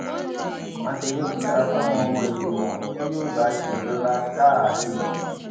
mákindé búra fáwọn ọmọ ìgbìmọ tí yóò bá a ṣèjọba sáà kejì